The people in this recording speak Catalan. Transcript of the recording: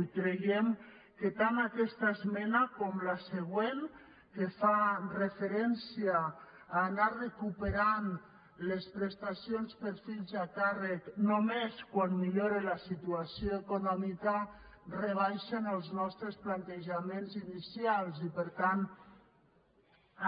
i creiem que tant aquesta esmena com la següent que fa referència a anar recuperant les prestacions per fills a càrrec només quan millore la situació econòmica rebaixen els nostres plantejaments inicials i per tant